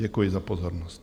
Děkuji za pozornost.